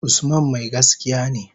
Usman mai gaskiya ne.